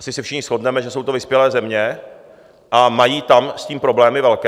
Asi se všichni shodneme, že jsou to vyspělé země a mají tam s tím problémy velké.